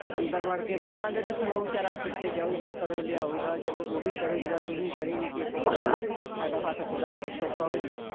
ਅੰਦਰ ਵੜ ਕੇ ਬਵਾਂਗੇ ਤੇ ਫੇਰ ਓਹ ਵਿਚਾਰਾ ਕਿੱਥੇ ਜਾਊਗਾ ਕਦੋਂ ਲਿਆਊਗਾ ਚਲੋ ਓਹ ਵੀ ਕਰੁਗਾ ਤੂ ਵੀ ਕਰੇਂਗੀ ਕਿਸੇ ਕੋਲ ਸਾਡਾ ਹੱਥ ਥੋੜਾ ਹੋਰ ਸੌਖਾ ਹੋ ਜਉ